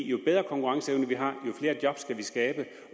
jo bedre konkurrenceevne vi har jo flere job kan vi skabe